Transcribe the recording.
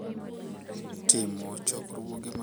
Timo chokruoge mag timo nyasi mar keny gi oganda maduong’.